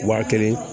Wa kelen